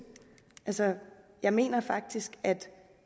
altså jeg mener faktisk at